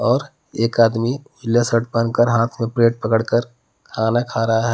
और एक आदमी पिला शर्ट पहन कर हाथ में प्लेट पकड़ कर खाना खा रहा